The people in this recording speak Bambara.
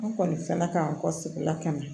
An kɔni fana k'an kɔ sigi la ka na